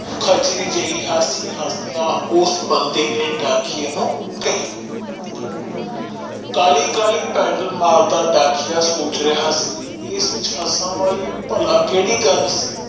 ਖਚਰੀ ਜੀ ਹਾਸੀ ਹੱਸਦੇ ਉਸ ਬੰਦੇ ਨੇ ਡਾਕੀਏ ਨੂੰ ਕਹਿ ਕਾਲੀ ਕਾਲੀ ਪੈਦਲ ਮਾਰਦਾ ਡਾਕੀਆ ਸੋਚ ਰਿਹਾ ਸੀ ਕਿ ਜੱਛ ਹੱਸਣਾ ਵਾਲੀ ਕਿਹੜੇ ਗੱਲ ਸੀ